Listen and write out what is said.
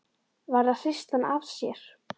Varð að hrista hann af sér!